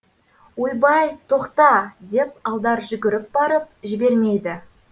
ойбай тоқта деп алдар жүгіріп барып жібермейді